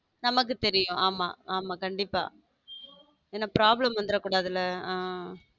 நமக்கு தெரியும் ஆமா ஆமா கண்டிப்ப என்ன problem வந்திடக் கூடாதுல.